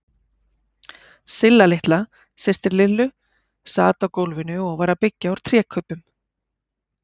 Silla litla systir Lillu sat á gólfinu og var að byggja úr trékubbum.